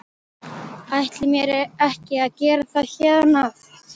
Ætla mér ekki að gera það héðan af.